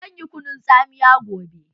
Zan yi kunun tsamiya gobe.